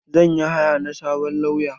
Zan yi haya na sabon lauya.